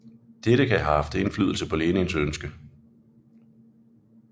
Dette kan have haft indflydelse på Lenins ønske